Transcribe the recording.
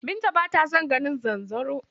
Binta b ata son ganin zanzaro.